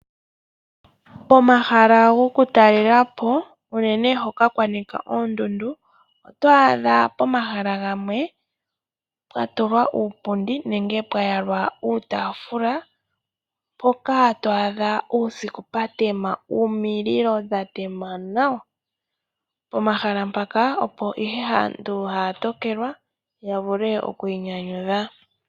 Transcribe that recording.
Pomahala gokutalelapo unene hoka kwanika oondundu, otwaadha pomahala gamwe pwatulwa uupundi nenge pwa yalwa uutaafula, mpoka twaadha pwatema nawa omililo uusiku . Pomahala mpaka opo ihe aantu haya tokelwa ya vule okwiinyanyudha.